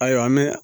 Ayiwa an bɛ